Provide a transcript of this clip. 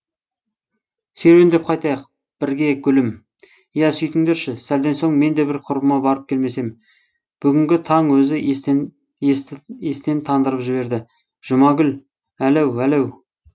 серуендеп қайтайық бірге гүлім иә сөйтіңдерші сәлден соң мен де бір құрбыма барып келмесем бүгінгі таң өзі естен тандырып жіберді жұмагүл әләу әлеу